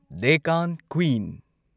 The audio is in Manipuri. ꯗꯦꯛꯀꯥꯟ ꯀ꯭ꯋꯤꯟ